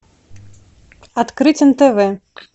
открыть нтв